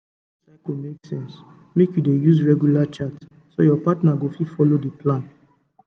to dey record your cycle makle sense make you dey use regular chart so your partner go fit follow the plan